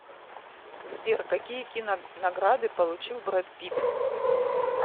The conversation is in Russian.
сбер какие кинонаграды получил брэд питт